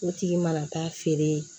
O tigi mana taa feere